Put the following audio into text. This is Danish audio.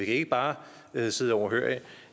ikke bare sidde overhørig